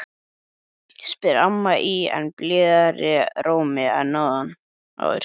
spyr amma í enn blíðari rómi en áður.